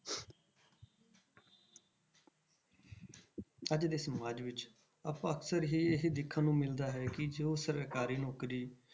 ਅੱਜ ਦੇ ਸਮਾਜ ਵਿੱਚ ਆਪਾਂ ਅਕਸਰ ਹੀ ਇਹ ਦੇਖਣ ਨੂੰ ਮਿਲਦਾ ਹੈ ਕਿ ਜੋ ਸਰਕਾਰੀ ਨੌਕਰੀ,